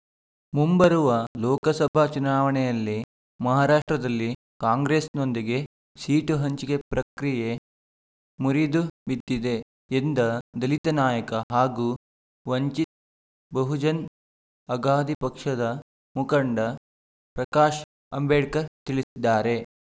ಮುಂಬರುವ ಲೋಕಸಭಾ ಚುನಾವಣೆಯಲ್ಲಿ ಮಹಾರಾಷ್ಟ್ರದಲ್ಲಿ ಕಾಂಗ್ರೆಸ್‌ನೊಂದಿಗೆ ಸೀಟು ಹಂಚಿಕೆ ಪ್ರಕ್ರಿಯೆ ಮುರಿದುಬಿದ್ದಿದೆ ಎಂದ ದಲಿತ ನಾಯಕ ಹಾಗೂ ವಂಚಿತ್ ಬಹುಜನ್ ಅಗಾದಿ ಪಕ್ಷದ ಮುಖಂಡ ಪ್ರಕಾಶ್ ಅಂಬೇಡ್ಕರ್ ತಿಳಿಸಿದ್ದಾರೆ